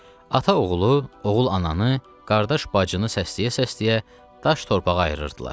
Ata oğlu, oğul ananı, qardaş bacını səsləyə-səsləyə daş torpağı ayırırdılar.